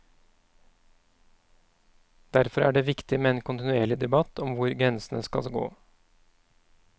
Derfor er det viktig med en kontinuerlig debatt om hvor grensene skal gå.